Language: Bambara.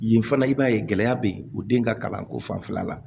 Yen fana i b'a ye gɛlɛya bɛ yen o den ka kalanko fanfɛla la